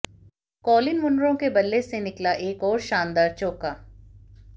Colin Munro के बल्ले से निकला एक और शानदार चौका